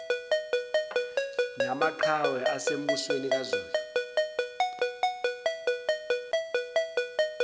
namaqhawe asembusweni kazulu